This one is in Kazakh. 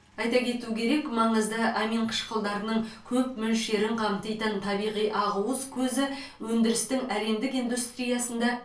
айта кету керек маңызды аминқышқылдарының көп мөлшерін қамтитын табиғи ақуыз көзі өндірістің әлемдік индустриясында